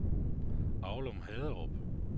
Aulum-Haderup